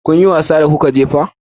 Kun yi wasa da kuka je fak?